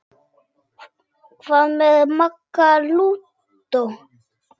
Hvað með Magga lúdó?